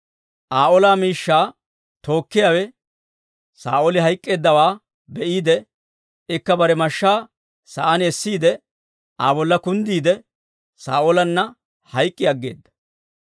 Aa ola miishshaa tookkiyaawe Saa'ooli hayk'k'eeddawaa be'iide, ikka bare mashshaa sa'aan essiide, Aa bolla kunddiide, Saa'oolanna hayk'k'i aggeeda.